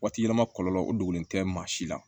Waati yɛlɛma kɔlɔlɔ o dogolen tɛ maa si la